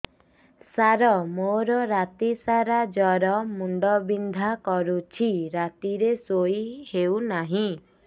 ସାର ମୋର ରାତି ସାରା ଜ୍ଵର ମୁଣ୍ଡ ବିନ୍ଧା କରୁଛି ରାତିରେ ଶୋଇ ହେଉ ନାହିଁ